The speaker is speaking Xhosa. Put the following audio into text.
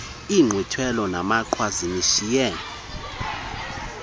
inkqwithelo namaqhwa zinishiye